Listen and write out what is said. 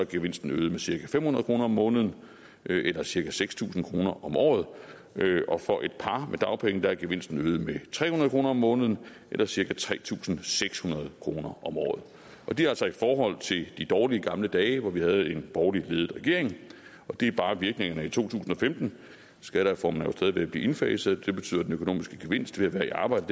gevinsten øget med cirka fem hundrede kroner om måneden eller cirka seks tusind kroner om året og for et par på dagpenge er gevinsten øget med tre hundrede kroner om måneden eller cirka tre tusind seks hundrede kroner om året og det er altså i forhold til de dårlige gamle dage hvor vi havde en borgerligt ledet regering og det er bare virkningerne i to tusind og femten skattereformen er jo stadig ved at blive indfaset og det betyder at den økonomiske gevinst ved at være i arbejde